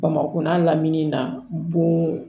Bamakina lamini na bon